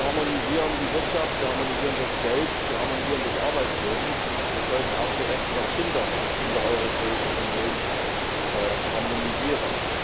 Wir harmonisieren die Wirtschaft, wir harmonisieren das Geld, wir harmonisieren das Arbeitsleben. Wir sollten auch die Rechte der Kinder in der Europäischen Union harmonisieren.